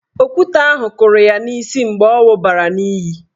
Okwute kụrụ ya n'isi mgbe ọ wụbara n'iyi.